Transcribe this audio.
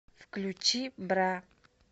включи бра